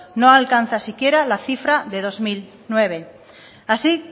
no alcanza siquiera la cifra de dos mil nueve así